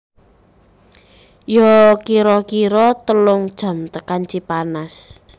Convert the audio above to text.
Yo kiro kiro telung jam tekan Cipanas